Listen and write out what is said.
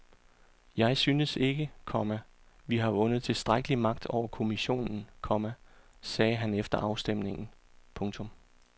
Jeg synes ikke, komma vi har vundet tilstrækkelig magt over kommissionen, komma sagde han efter afstemningen. punktum